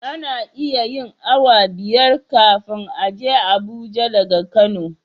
Ana iya yin awa biyar kafin a je abuja daga kano